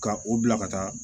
Ka u bila ka taa